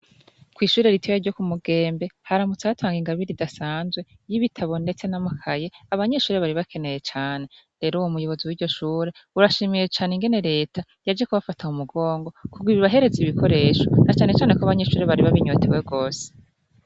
Kw'ishure ritiyya ryo ku mugembe haramutse atanga ingabiri ridasanzwe y'ibitabo, ndetse n'amakaye abanyeshure bari bakeneye cane rero uwo muyobozi w'iryo shure urashimiye cane ingene leta yaji kubafata mu mugongo kugwa ibahereze ibikoresho na canecane ko abanyeshure bari babinyotewe rwose.